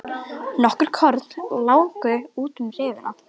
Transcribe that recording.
Nokkur korn láku út um rifuna.